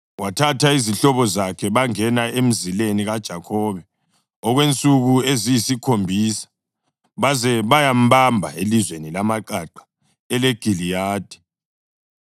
Wathatha izihlobo zakhe bangena emzileni kaJakhobe okwensuku eziyisikhombisa baze bayambamba elizweni lamaqaqa eleGiliyadi.